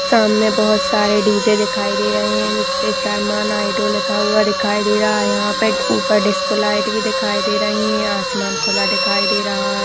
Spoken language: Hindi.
सामने बहुत सारे डी जे दिखाई दे रहे हैं जिसपे शरमान हाइड्रो लिखा दिखाई दे रहा है यहां पर ऊपर डिस्को लाइट भी दिखाई दे रही है आसमान खुला दिखाई दे रहा है।